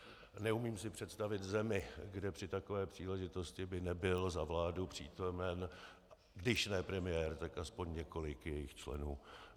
Neumím si představit zemi, kde při takové příležitosti by nebyl za vládu přítomen když ne premiér, tak aspoň několik jejích členů.